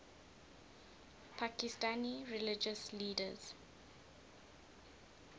pakistani religious leaders